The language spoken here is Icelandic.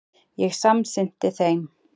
Ég samsinnti þeim.